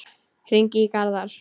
Hringi í Garðar.